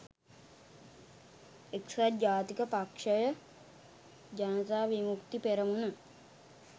එක්සත් ජාතික පක්‍ෂය ජනතා විමුක්ති පෙරමුණ